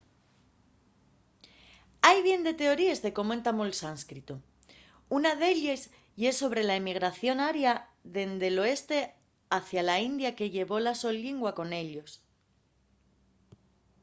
hai bien de teoríes de cómo entamó’l sánscritu. una d’elles ye sobre la emigración aria dende l’oeste hacia la india que llevó la so llingua con ellos